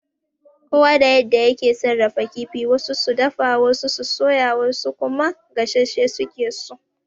Kowa da yadda yake sarrafa kifi, wasu su dafa, wasu su soya, wasu kuma gassashe suke so.